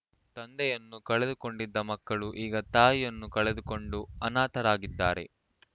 ತಂದೆಯನ್ನು ಕಳೆದುಕೊಂಡಿದ್ದ ಮಕ್ಕಳು ಈಗ ತಾಯಿಯನ್ನೂ ಕಳೆದುಕೊಂಡು ಅನಾಥರಾಗಿದ್ದಾರೆ